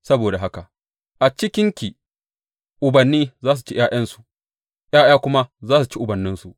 Saboda haka a cikinki ubanni za su ci ’ya’yansu, ’ya’ya kuma za su ci ubanninsu.